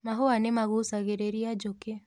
Mahũa nĩmagucagĩrĩria njũkĩ.